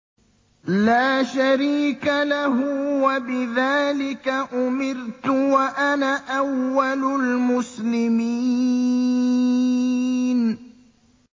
لَا شَرِيكَ لَهُ ۖ وَبِذَٰلِكَ أُمِرْتُ وَأَنَا أَوَّلُ الْمُسْلِمِينَ